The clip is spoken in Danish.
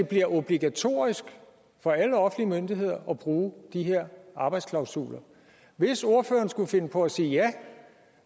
bliver obligatorisk for alle offentlige myndigheder at bruge de her arbejdsklausuler hvis ordføreren skulle finde på at sige ja